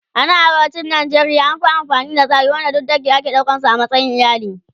A nan arewacin Najeriya an Fi amfani da tsari wanda duk dange ake ɗaukan su a matsayin iyali